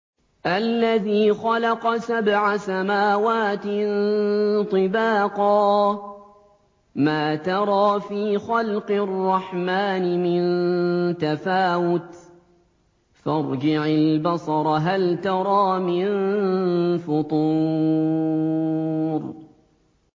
الَّذِي خَلَقَ سَبْعَ سَمَاوَاتٍ طِبَاقًا ۖ مَّا تَرَىٰ فِي خَلْقِ الرَّحْمَٰنِ مِن تَفَاوُتٍ ۖ فَارْجِعِ الْبَصَرَ هَلْ تَرَىٰ مِن فُطُورٍ